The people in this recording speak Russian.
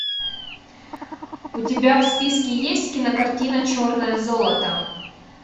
у тебя в списке есть кинокартина черное золото